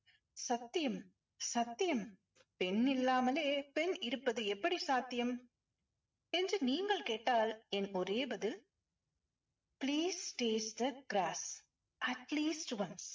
சத்தியம் சத்தியம். பெண்ணில்லாமலே இருப்பது பெண் எப்படி சாத்தியம்? என்று நீங்கள் கேட்டால் என் ஒரே பதில் please taste the gross atleast once